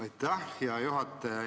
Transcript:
Aitäh, hea juhataja!